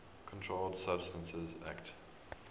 controlled substances acte